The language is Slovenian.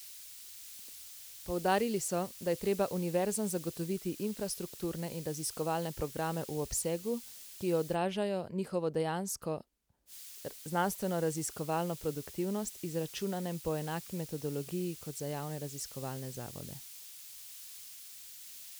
Poudarili so, da je treba univerzam zagotoviti infrastrukturne in raziskovalne programe v obsegu, ki odražajo njihovo dejansko znanstvenoraziskovalno produktivnost, izračunanem po enaki metodologiji, kot za javne raziskovalne zavode.